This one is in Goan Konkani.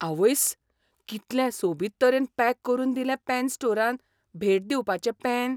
आवयस्स, कितलें सोबीत तरेन पॅक करून दिलें पॅन स्टोरान भेट दिवपाचें पॅन!